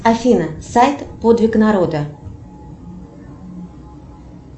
афина сайт подвиг народа